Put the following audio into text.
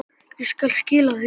Ég skal skila því.